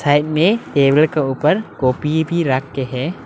Side में table के ऊपर कॉपी भी रख के है।